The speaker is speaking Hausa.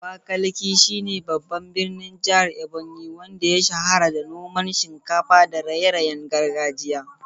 Abakaliki shi ne babban birnin jihar Ebonyi, wanda ya shahara da noman shinkafa da raye-rayen gargajiya.